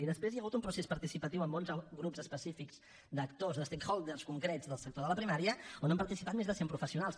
i després hi ha hagut un procés participatiu amb onze grups específics d’actors de stakeholders concrets del sector de la primària on han participat més de cent professionals